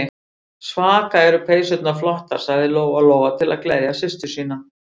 Svaka eru peysurnar flottar, sagði Lóa-Lóa til að gleðja systur sína.